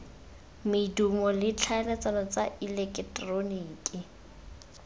medumo le tlhaeletsano tsa eleketeroniki